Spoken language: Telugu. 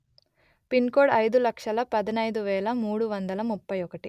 పిన్ కోడ్ అయిదు లక్షలు పదునయిదు వెలు మూడు వందలు ముప్పై ఒకటి